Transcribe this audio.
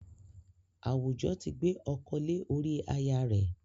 Àwùjọ ti gbé ọkọ lé ori aya rẹ̀